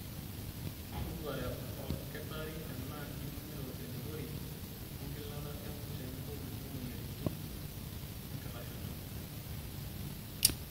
Toduare olkitarri tenaa iningito elepori, engilata emurt tenebo kulie moyiaritin enkitashoto.